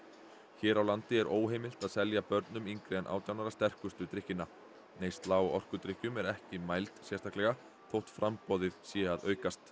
hér á landi er óheimilt að selja börnum yngri en átján ára sterkustu drykkina neysla á orkudrykkjum er ekki mæld sérstaklega þótt framboðið sé að aukast